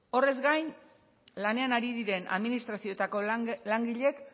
horrez gain lanean ari diren administrazioetako langileek